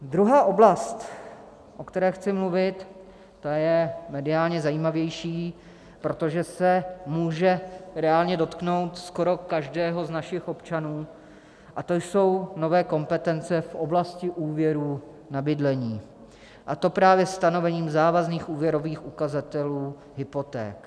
Druhá oblast, o které chci mluvit, ta je mediálně zajímavější, protože se může reálně dotknout skoro každého z našich občanů, a to jsou nové kompetence v oblasti úvěrů na bydlení, a to právě stanovením závazných úvěrových ukazatelů hypoték.